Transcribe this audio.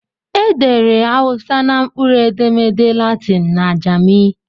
Edere Hausa na mkpụrụedemede Latịn na Ajami